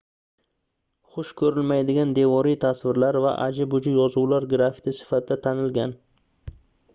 xush koʻrilmaydigan devoriy tasvirlar va aji-buji yozuvlar grafiti sifatida tanilgan